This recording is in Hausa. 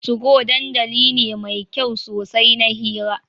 Tugo dandali ne mai kyau sosai na hira.